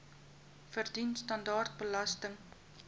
verdien standaard belasting